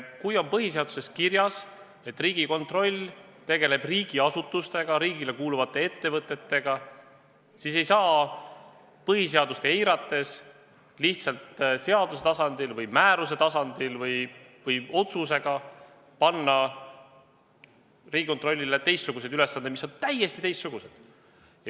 Kui on põhiseaduses kirjas, et Riigikontroll tegeleb riigiasutustega, riigile kuuluvate ettevõtetega, siis ei saa põhiseadust eirates lihtsalt seaduse tasandil või määruse tasandil või otsusega panna Riigikontrollile ülesandeid, mis on täiesti teistsugused.